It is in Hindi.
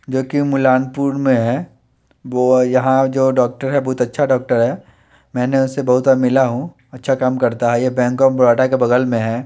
जोकि मुलानपुर में है वो यहा जो डोक्टर है बहोत अच्छा डोक्टर है मेने उसे बहोत बार मिला हु अच्छा काम करता है ये बैंक ऑफ़ बरोदा के बगल में है।